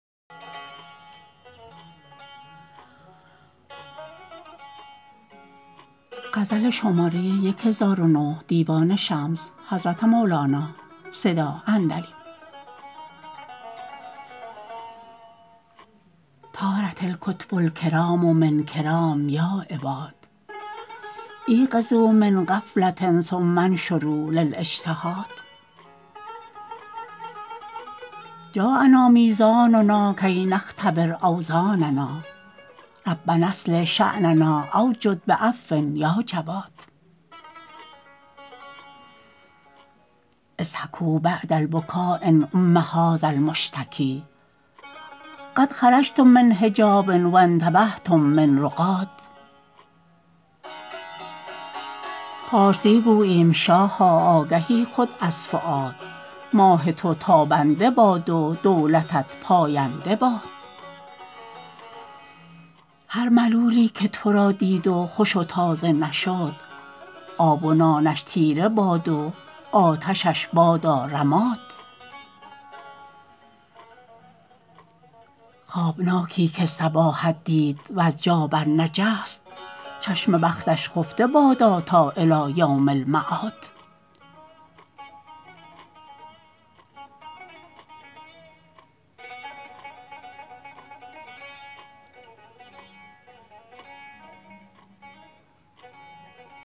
طارت الکتب الکرام من کرام یا عباد ایقظوا من غفله ثم انشروا للاجتهاد جاء نا میزاننا کی نختبر اوزاننا ربنا اصلح شأننا او جد بعفو یا جواد اضحکوا بعد البکا یا نعم هذا المشتکی قد خرجتم من حجاب و انتبهتم من رقاد پارسی گوییم شاها آگهی خود از فؤاد ماه تو تابنده باد و دولتت پاینده باد هر ملولی که تو را دید و خوش و تازه نشد آب و نانش تیره باد و آتشش بادا رماد خوابناکی که صباحت دید وز جا برنجست چشم بختش خفته بادا تا الی یوم المعاد